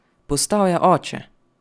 Postal je oče!